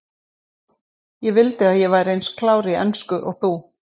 Ég vildi að ég væri eins klár í ensku og þú.